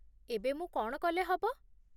ଏବେ ମୁଁ କ'ଣ କଲେ ହବ?